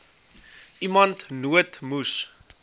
iemand nood moes